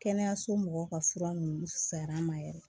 Kɛnɛyaso mɔgɔw ka fura ninnu fuyar'an ma yɛrɛ